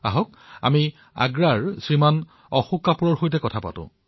আহক আগ্ৰাৰ শ্ৰীমান অশোক কাপুৰৰ সৈতে আমি কথা পাতো